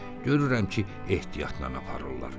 Görürəm ki, ehtiyatla aparırlar.